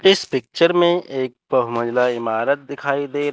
इस पिक्चर में एक बहु मंजिल इमारत दिखाई दे--